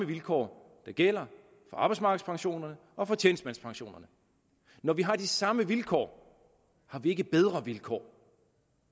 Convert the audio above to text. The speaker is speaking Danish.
vilkår der gælder for arbejdsmarkedspensionerne og tjenestemandspensionerne når vi har de samme vilkår har vi ikke bedre vilkår